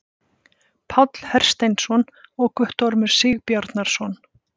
Páll Hersteinsson og Guttormur Sigbjarnarson.